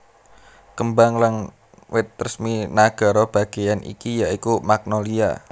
Kembang lan wit resmi nagara bagéyan iki ya iku magnolia